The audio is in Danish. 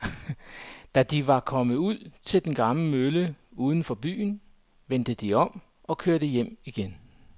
Da de var kommet ud til den gamle mølle uden for byen, vendte de om og kørte hjem igen.